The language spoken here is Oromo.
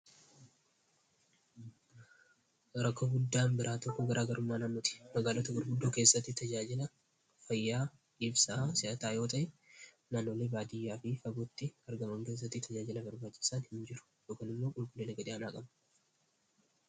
Rakkoo guddaan biraa tokko garaa garummaa namnuti magaalota gurguddoo keessattii tajaajila fayyaa dhiifsaa si'ataa yoota naanole baadiyyaa fi faguutti argamam keessattii tajaajila garbaachisaan hin jiru.